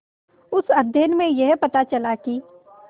उस अध्ययन में यह पता चला कि